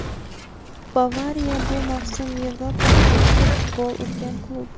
"Bavariya" bu mavsum Yevropada eng ko‘p gol urgan klub;.